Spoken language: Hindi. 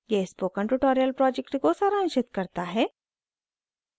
यह spoken tutorial project को सारांशित करता है